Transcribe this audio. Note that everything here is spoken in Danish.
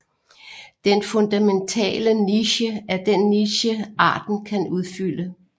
Den fundamentale niche er den niche arten kan udfylde